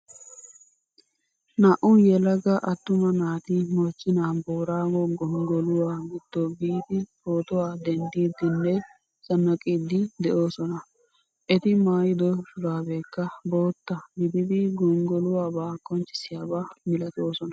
Naa'u yelaga attuma naati mochchena boorago gonggoluwaa gido biidi pootuwaa denddidine zannaqidi deosona. Eti maayido shurabekka boottaa gididi gonggoluwaaba qonccisiyaba milatoosona.